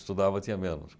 Estudava, tinha menos.